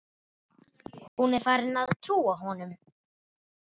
Hún er farin að trúa honum.